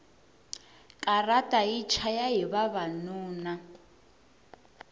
katara yi chayahi vavanuna